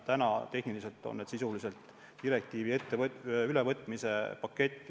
Täna on teie ees sisuliselt direktiivide ülevõtmise pakett.